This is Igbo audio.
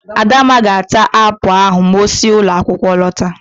Adamma ga-ata apụl ahụ ma osi ụlọakwụkwọ lọta.